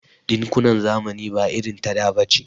Ɗinkunan zamani ba irin ta da bace.